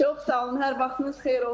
Çox sağ olun, hər vaxtınız xeyir olsun.